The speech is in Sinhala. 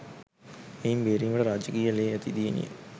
එයින් බේරීමට රාජකීය ලේ ඇති දියණිය